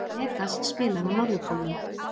Megas spilar á Norðurpólnum